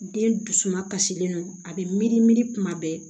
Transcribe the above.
Den dusuma kasilen don a bɛ miiri miiri kuma bɛɛ